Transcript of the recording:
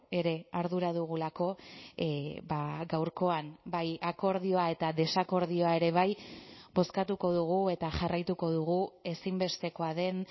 ere ardura dugulako gaurkoan bai akordioa eta desakordioa ere bai bozkatuko dugu eta jarraituko dugu ezinbestekoa den